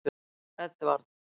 Edvard